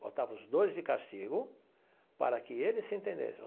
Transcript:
Botava os dois de castigo para que eles se entendessem.